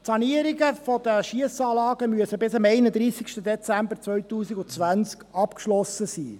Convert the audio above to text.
Die Sanierungen der Schiessanlagen müssen bis zum 31. Dezember 2020 abgeschlossen sein.